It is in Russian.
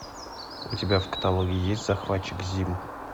у тебя в каталоге есть захватчик зим